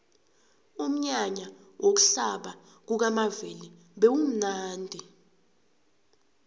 umnyanya wokuhlaba kukamavela bewumnadi